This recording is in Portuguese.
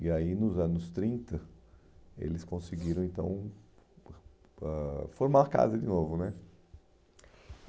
E aí, nos anos trinta, eles conseguiram, então, ãh formar a casa de novo né.